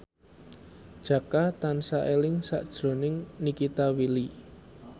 Jaka tansah eling sakjroning Nikita Willy